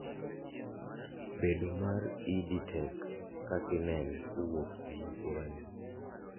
bedo mar EdTech kakineno kowuok e masira ni